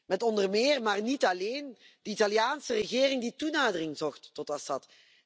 Met onder meer, maar niet alleen, de Italiaanse regering die toenadering zocht tot Assad.